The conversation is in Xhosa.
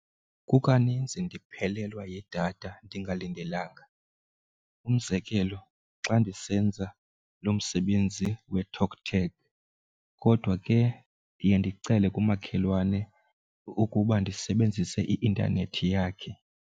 Kukaninzi ndiphelelwa yidatha ndingalindelanga, umzekelo xa ndisenza loo msebenzi weTalkTag. Kodwa ke ndiye ndicele kumakhelwane ukuba ndisebenzise i-intanethi yakhe.